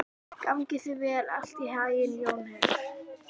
Gangi þér allt í haginn, Jónheiður.